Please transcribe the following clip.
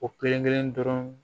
O kelen kelen dɔrɔn